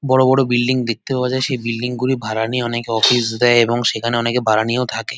বড় বড় বিল্ডিং দেখতে পাওয়া যায় সেই বিল্ডিং গুলি ভাড়া নিয়ে অনেকে অফিস দেয় এবং সেখানে অনেকে ভাড়া নিয়েও থাকে।